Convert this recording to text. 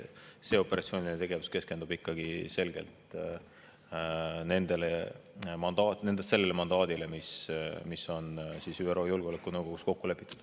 Operatsiooniline tegevus keskendub ikkagi selgelt sellele mandaadile, mis on ÜRO Julgeolekunõukogus kokku lepitud.